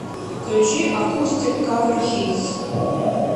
включи акустик кавер хитс